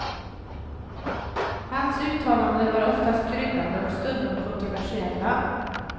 Hans uttalanden var oftast kryddade och stundom kontroversiella.